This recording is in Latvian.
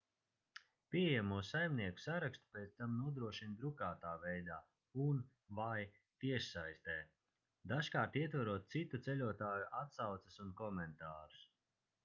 pieejamo saimnieku sarakstu pēc tam nodrošina drukātā veidā un/vai tiešsaistē dažkārt ietverot citu ceļotāju atsauces un komentārus